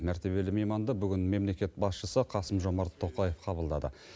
мәртебелі мейманды бүгін мемлекет басшысы қасым жомарт тоқаев қабылдады